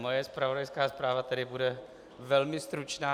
Moje zpravodajská zpráva tedy bude velmi stručná.